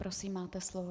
Prosím, máte slovo.